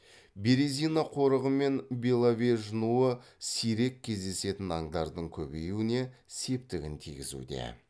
березина қорығы мен беловеж нуы сирек кездесетін аңдардың көбеюіне септігін тигізуде